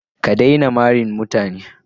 Ka daina mari mutane.